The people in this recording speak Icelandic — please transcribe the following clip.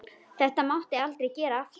Þetta máttu aldrei gera aftur!